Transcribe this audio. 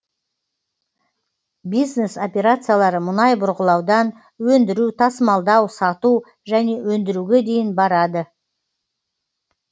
бизнес операциялары мұнай бұрғылаудан өндіру тасымалдау сату және өндіруге дейін барады